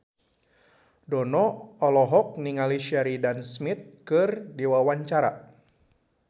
Dono olohok ningali Sheridan Smith keur diwawancara